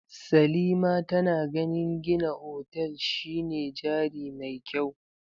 Salima tana ganin gina otal shine jari mai kyau.